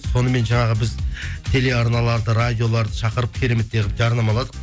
сонымен жаңағы біз телеарналарды радиоларды шақырып кереметтей қылып жарнамаладық